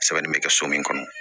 Sɛbɛnni bɛ kɛ so min kɔnɔ